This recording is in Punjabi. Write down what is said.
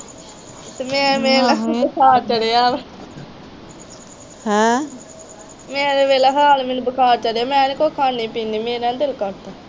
ਤੇ ਮੈ ਵੇਖਲਾ ਬੁਖਾਰ ਚੜਿਆ ਵਾ ਮੇਰਾ ਤੇ ਵੇਖਲਾ ਹਾਲ ਮੈਨੂੰ ਬੁਖਾਰ ਚੜਿਆ ਮੈ ਨਹੀਂ ਕੁਛ ਖਾਣੀ ਪੀਣੀ ਵੀ ਮੇਰਾ ਨਹੀਂ ਦਿਲ ਕਰਦਾ।